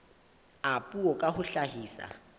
a puo ka ho hlahisa